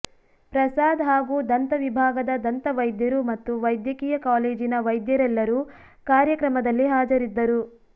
ಪ್ರಸಾದ್ ಹಾಗೂ ದಂತ ವಿಭಾಗದ ದಂತ ವೈದ್ಯರು ಮತ್ತು ವ್ಯದ್ಯಕೀಯ ಕಾಲೇಜಿನ ವೈದ್ಯರೆಲ್ಲರು ಕಾರ್ಯ ಕ್ರಮದಲ್ಲಿ ಹಾಜರಿದ್ದರು